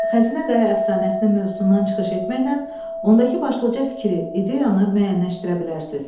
Xəzinə Qaya əfsanəsinin mövzusundan çıxış etməklə, ondakı başlıca fikri, ideyanı müəyyənləşdirə bilərsiz.